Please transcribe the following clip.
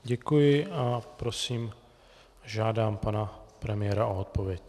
Děkuji a prosím, žádám pana premiéra o odpověď.